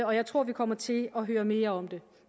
og jeg tror vi kommer til at høre mere om det